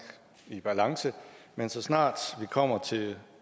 i balance men så snart vi kommer til